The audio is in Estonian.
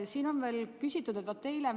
Aitäh teile vastuse eest!